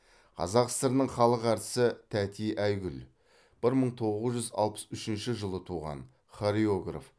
қазақ сср інің халық әртісі тәти айгүл бір мың тоғыз жүз алпыс үшінші жылы туған хореограф